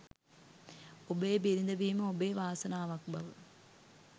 ඔබේ බිරිඳ වීම ඔබේ වාසනාවක් බව